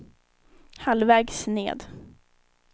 halvvägs ned